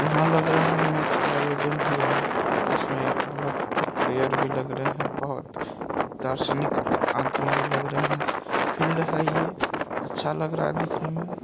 यहा लग रहा है मैच का आयोजन हुआ है जिसमें बहुत प्लेयर भी लग रहे है बहुत दार्शनिक आदमी भी लग रहे है फील्ड है ये अच्छा लग रहा देखने में।